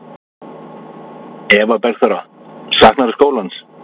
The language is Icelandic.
Eva Bergþóra: Saknarðu skólans?